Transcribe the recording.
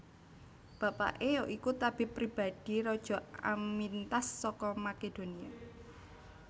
Bapaké ya iku tabib pribadi Raja Amyntas saka Makedonia